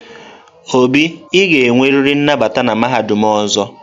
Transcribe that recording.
Obi, ị ga-enwerịrị nnabata na mahadum ọzọ!